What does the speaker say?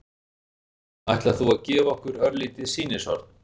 Ætlar þú að gefa okkur örlítið sýnishorn?